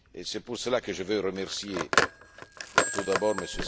Et c'est pour cela que je veux remercier tout d'abord M.